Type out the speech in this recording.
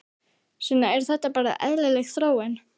Sunna: Er þetta bara eðlileg þróun?